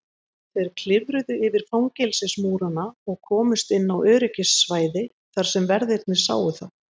Þeir klifruðu yfir fangelsismúrana og komust inn á öryggissvæði þar sem verðirnir sáu þá.